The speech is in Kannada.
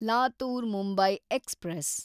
ಲಾತೂರ್ ಮುಂಬೈ ಎಕ್ಸ್‌ಪ್ರೆಸ್